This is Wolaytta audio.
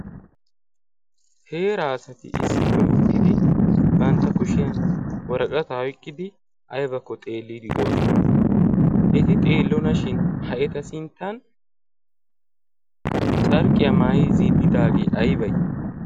heeraasati issippe uttidi bantta kushiyan waraqata iqqidi aibakko xeelliidi doosona. eti xeellonashin ha eta sinttan carqqiyaa maayi zin'idaagee aybee?